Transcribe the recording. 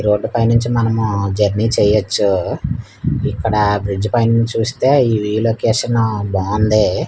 Road పైనుంచి మనము journey చేయొచ్చు ఇక్కడ బ్రిడ్జ్ పైనుంచి చూస్తే ఈ రీలొకేషన్ బావుంది.